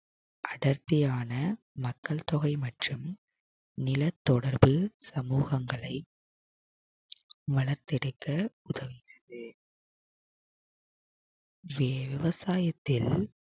அடர்த்தியான மக்கள் தொகை மற்றும் நிலத்தொடர்பு சமூகங்களை வளர்த்திருக்க உதவுகிறது விவசாயத்தில்